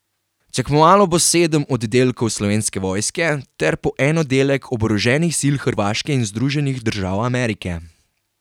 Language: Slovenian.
Tekmovalo bo sedem oddelkov Slovenske vojske ter po en oddelek oboroženih sil Hrvaške in Združenih držav Amerike.